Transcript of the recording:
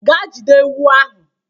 Ga jide ewu ahụ.